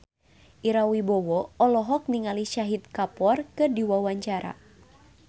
Ira Wibowo olohok ningali Shahid Kapoor keur diwawancara